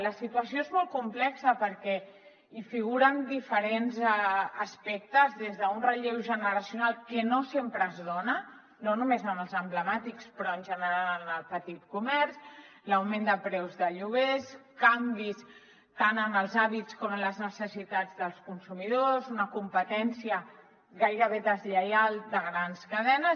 la situació és molt complexa perquè hi figuren diferents aspectes des d’un relleu generacional que no sempre es dona no només en els emblemàtics però en general en el petit comerç l’augment de preus de lloguers canvis tant en els hàbits com en les necessitats dels consumidors una competència gairebé deslleial de grans cadenes